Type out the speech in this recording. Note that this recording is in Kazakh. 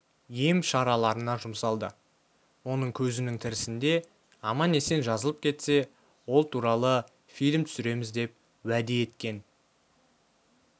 ем-шараларына жұмсалды оның көзінің тірісінде аман-есен жазылып кетсе ол туралы фильм түсіреміз деп уәде еткен